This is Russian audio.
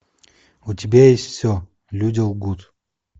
у тебя есть все люди лгут